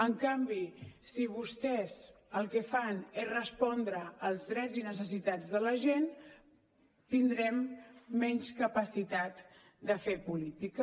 en canvi si vostès el que fan és respondre als drets i necessitats de la gent tindrem menys capacitat de fer política